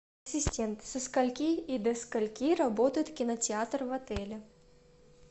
ассистент со скольки и до скольки работает кинотеатр в отеле